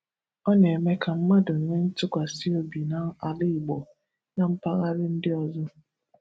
Ọ na-eme ka mmadụ nwee ntụkwasi obi n’ala Igbo na mpaghara ndị ọzọ.